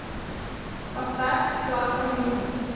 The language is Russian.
поставь в сладком дыму